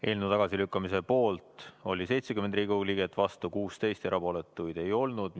Eelnõu tagasilükkamise poolt oli 70 Riigikogu liiget ja vastu oli 16, erapooletuid ei olnud.